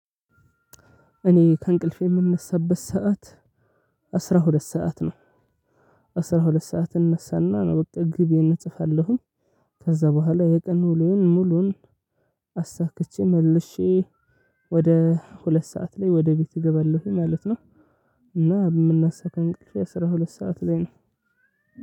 እኔ ከእንቅልፌ የምነሳበት ሰዓት አስራ ሁለት ሰዓት ነው። አስራ ሁለት ሰዓት እነሳና ነው ግቤን እጽፋለሁኝ። ከዛ በኋላ የቀን ውሎዬን ሙሉን አሳክቼ መልሼ ወደ ሁለት ሰዓት ላይ ወደ ቤት እገባለሁኝ ማለት ነው። እና የምነሳው ከእንቅልፌ አስራ ሁለት ሰዓት ላይ ነው።